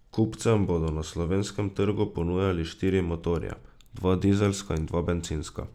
Kupcem bodo na slovenskem trgu ponujali štiri motorje, dva dizelska in dva bencinska.